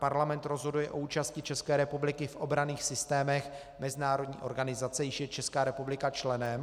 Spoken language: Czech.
Parlament rozhoduje o účasti České republiky v obranných systémech mezinárodní organizace, jíž je Česká republika členem.